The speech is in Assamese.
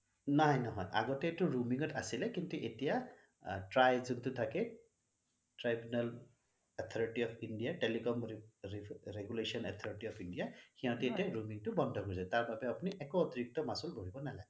নাই নহয় আগতে এইটো roaming ত আছিলে কিন্তু এতিয়া try যোনটো থাকে tribunal authority of India telecom regulation authority of India সিহঁতে এতিয়া roaming টো বন্ধ খোজে তাৰ বাবে আপুনি একো অতিৰিক্ত মাছুল ভৰিব নালাগে